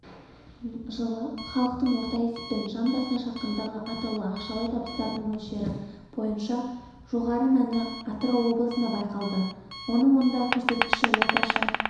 жылы халықтың орта есеппен жан басына шаққандағы атаулы ақшалай табыстарының мөлшері бойынша жоғары мәні атырау облысында байқалды онда осы көрсеткіш орташа